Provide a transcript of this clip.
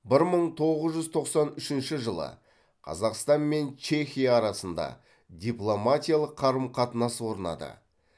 бір мың тоғыз жүз тоқсан үшінші жылы қазақстан мен чехия арасында дипломатиялық қарым қатынас орнады